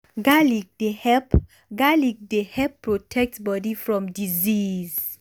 garlic dey help garlic dey help protect body from disease.